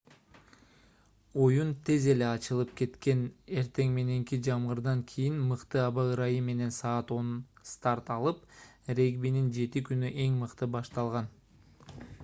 оюн тез эле ачылып кеткен эртең мененки жамгырдан кийин мыкты аба ырайы менен саат 10:00 старт алып регбинин 7-күнү эң мыкты башталды